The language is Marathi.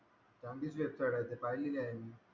चांगलीच website आहे ती पाहिलेली आहे मी.